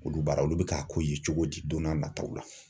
Olu baara olu bɛ ka ko ye cogo di don n'a nataw la.